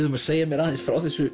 um að segja mér aðeins frá þessu